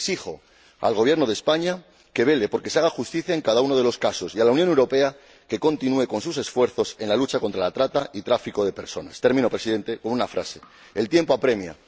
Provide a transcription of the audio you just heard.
Exijo al Gobierno de España que vele por que se haga justicia en cada uno de los casos y a la Unión Europea que continúe con sus esfuerzos en la lucha contra la trata y el tráfico de personas. Termino, señor Presidente, con una frase el tiempo apremia.